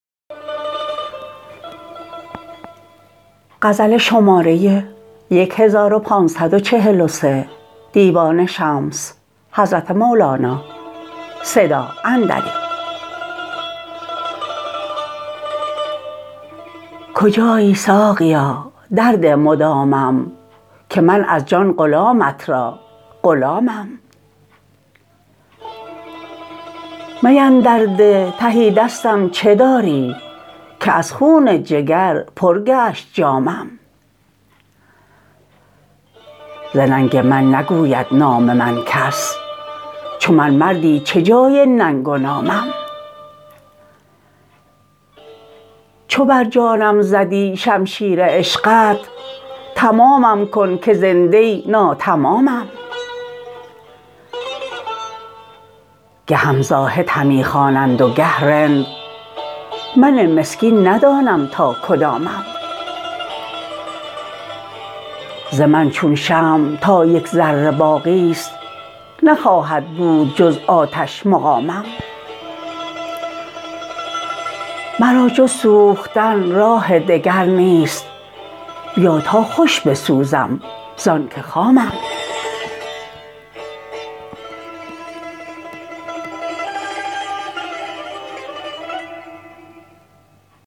کجایی ساقیا در ده مدامم که من از جان غلامت را غلامم می اندر ده تهی دستم چه داری که از خون جگر پر گشت جامم ز ننگ من نگوید نام من کس چو من مردی چه جای ننگ و نامم چو بر جانم زدی شمشیر عشقت تمامم کن که زنده ی ناتمامم گهم زاهد همی خوانند و گه رند من مسکین ندانم تا کدامم ز من چون شمع تا یک ذره باقی ست نخواهد بود جز آتش مقامم مرا جز سوختن راه دگر نیست بیا تا خوش بسوزم زانک خامم